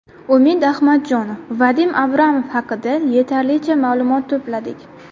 Umid Ahmadjonov: Vadim Abramov haqida yetarlicha ma’lumot to‘pladik.